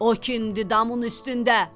O kimdir damın üstündə?